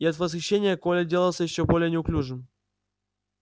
и от восхищения коля делался ещё более неуклюжим